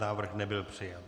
Návrh nebyl přijat.